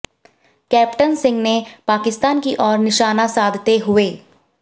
captain Singh ने पाकिस्तान की ओर निशाना साधते हुये